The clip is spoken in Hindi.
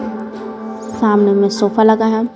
सामने में सोफा लगा है ।